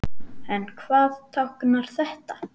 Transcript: En hvað táknar þetta?